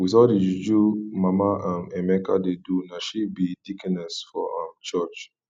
with all the juju mama um emeka dey do na she be deaconess for um church